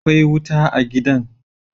Akwai wuta a gidan